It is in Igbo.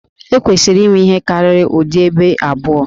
E kwesịrị inwe ihe karịrị ụdị Ébè abụọ